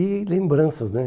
E lembranças, né?